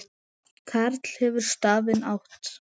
Karl hefur stafinn átt.